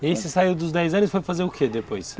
E aí você saiu dos dez anos e foi fazer o que depois?